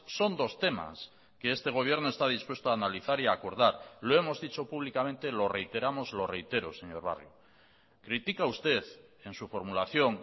son dos temas que este gobierno está dispuesto a analizar y a acordar lo hemos dicho públicamente lo reiteramos lo reitero señor barrio critica usted en su formulación